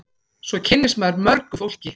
Svo kynnist maður mörgu fólki.